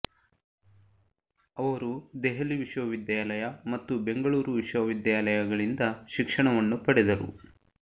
ಅವರು ದೆಹಲಿ ವಿಶ್ವವಿದ್ಯಾಲಯ ಮತ್ತು ಬೆಂಗಳೂರು ವಿಶ್ವವಿದ್ಯಾಲಯ ಗಳಿಂದ ಶಿಕ್ಷಣವನ್ನು ಪಡೆದರು